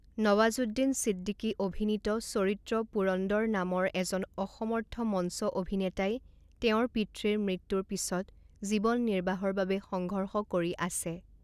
নৱাজুদ্দিন ছিদ্দিকী অভিনিত চৰিত্ৰ পুৰন্দৰ নামৰ এজন অসমৰ্থ মঞ্চ অভিনেতাই তেওঁৰ পিতৃৰ মৃত্যুৰ পিছত জীৱন নিৰ্বাহৰ বাবে সংঘৰ্ষ কৰি আছে।